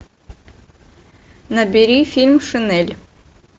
набери фильм шинель